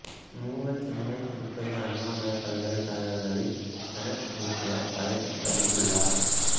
மு வ சென்னை திருப்பதி அண்ணாமலைப் பல்கலைக் கழகங்களின் செனட் உறுப்பினர் பதவி வகித்துள்ளார்